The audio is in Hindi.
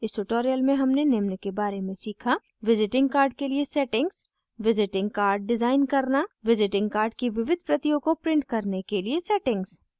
इस tutorial में हमने निम्न के बारे में सीखा